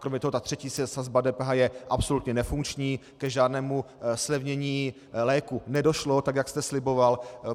Kromě toho ta třetí sazba DPH je absolutně nefunkční, k žádnému zlevnění léků nedošlo, tak jak jste sliboval.